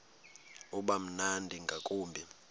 uba mnandi ngakumbi